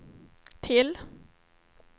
till